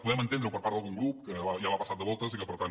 podem entendre ho per part d’algun grup que ja va passat de voltes i que per tant